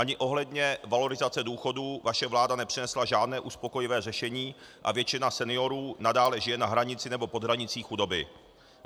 Ani ohledně valorizace důchodů vaše vláda nepřinesla žádné uspokojivé řešení a většina seniorů nadále žije na hranici nebo pod hranicí chudoby.